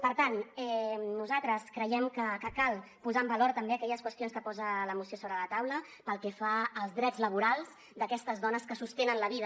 per tant nosaltres creiem que cal posar en valor també aquelles qüestions que posa la moció sobre la taula pel que fa als drets laborals d’aquestes dones que sostenen la vida